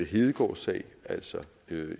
hedegaardsag altså